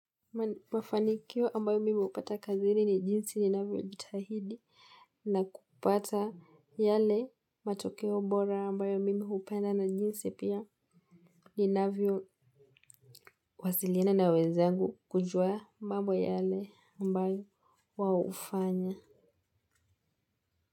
Mafanikio ambayo mimi hupata kazini ni jinsi ninavyo jitahidi na kupata yale matokeo bora ambayo mimi hupenda na jinsi pia ni navyo wasilina na wenzangu kujua mambo yale ambayo wao hufanya.